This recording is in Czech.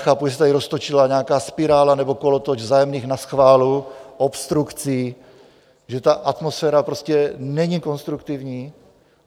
Chápu, že se tady roztočila nějaká spirála nebo kolotoč vzájemných naschválů, obstrukcí, že ta atmosféra prostě není konstruktivní.